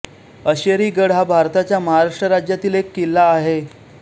अशेरीगड हा भारताच्या महाराष्ट्र राज्यातील एक किल्ला आहे